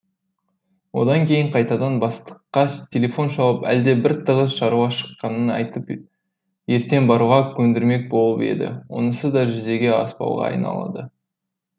одан кейін қайтадан бастыққа телефон шалып әлде бір тығыз шаруа шыққанын айтып ертең баруға көндірмек болып еді онысы да жүзеге аспауға айналады